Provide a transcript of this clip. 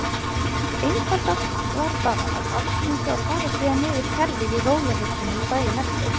Einfaldast var bara að aftengja og fara síðan yfir kerfið í rólegheitunum daginn eftir.